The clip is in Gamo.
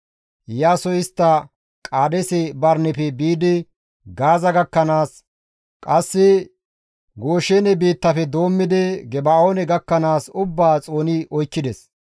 Iyaasoy istta Qaadeese Barineppe biidi Gaaza gakkanaas, qasse Gooshene biittafe doommidi Geba7oone gakkanaas ubbaa xooni oykkides.